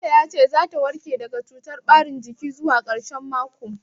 Likita ya ce za ta warke daga cutar ɓarin jikin zuwa ƙarshen mako.